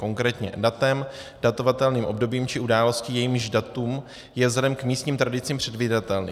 Konkrétně datem, datovatelným obdobím či událostí, jejíž datum je vzhledem k místním tradicím předvídatelné.